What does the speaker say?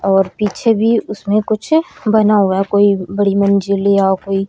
और पीछे भी उसमें कुछ बना हुआ कोई बड़ी मंजिल या कोई--